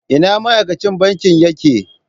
Ina ma'aikacin banki yake?